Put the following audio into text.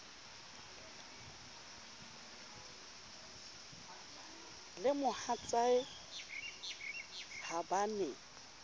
le mohatsae ha ba ne